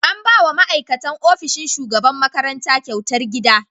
An ba wa ma'aikatan ofishin shugaban makaranta kyautar gida.